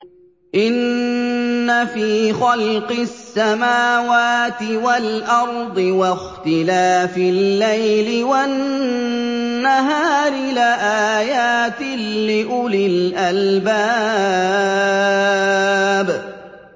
إِنَّ فِي خَلْقِ السَّمَاوَاتِ وَالْأَرْضِ وَاخْتِلَافِ اللَّيْلِ وَالنَّهَارِ لَآيَاتٍ لِّأُولِي الْأَلْبَابِ